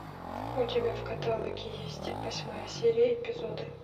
у тебя в каталоге есть восьмая серия эпизоды